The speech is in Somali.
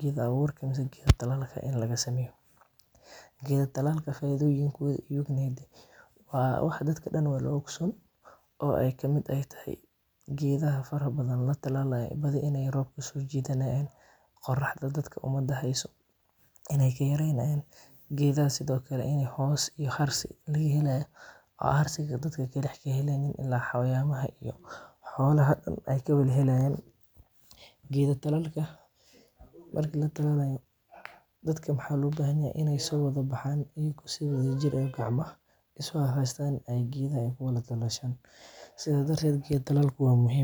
geeda abuurka in laga sameeyo, faidoyinkooda waa wax dadka dan wada ogsoon, roobka inaay soo jidanaayin, qoraxda dadka ka yareynayan, inaay hoos noqonaayan, oo harsihmhad xolaha ka helayan, marka la talaalayo waa in dadka soo wada baxaan.